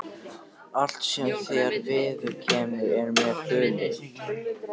Allt sem þér viðkemur er mér hulið.